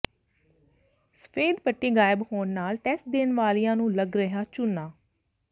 ਸਫ਼ੇਦ ਪੱਟੀ ਗਾਇਬ ਹੋਣ ਨਾਲ ਟੈਸਟ ਦੇਣ ਵਾਲਿਆਂ ਨੂੰ ਲੱਗ ਰਿਹਾ ਚੂਨਾ